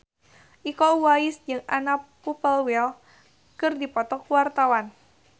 Iko Uwais jeung Anna Popplewell keur dipoto ku wartawan